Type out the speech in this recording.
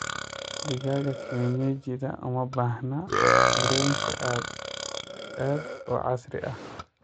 Digaaga kienyejidha uma baahna xirooyinka aad u casri ah.